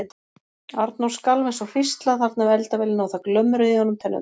Arnór skalf eins og hrísla þarna við eldavélina og það glömruðu í honum tennurnar.